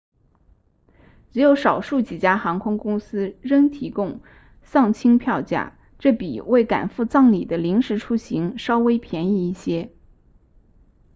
只有少数几家航空公司扔提供丧亲票价这比为赶赴葬礼的临时出行稍微便宜一些